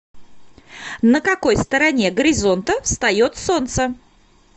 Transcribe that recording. на какой стороне горизонта встает солнце